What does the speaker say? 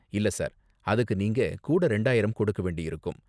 இல்ல, சார். அதுக்கு நீங்க கூட இரண்டாயிரம் கொடுக்க வேண்டியிருக்கும்.